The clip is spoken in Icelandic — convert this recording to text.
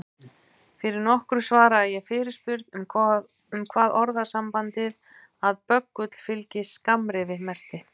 Fyrir nokkru svaraði ég fyrirspurn um hvað orðasambandið að böggull fylgi skammrifi merkti.